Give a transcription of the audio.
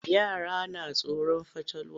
Yara na tsoron fatalwa.